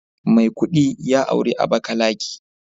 Maikudi ya auri Abakalaki